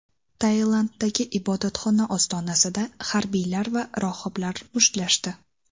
Tailanddagi ibodatxona ostonasida harbiylar va rohiblar mushtlashdi.